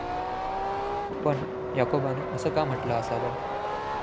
पण, याकोबानं असं का म्हटलं असावं?